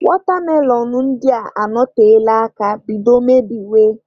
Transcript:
Watermelon ndị a anọtela aka bido mebiwe.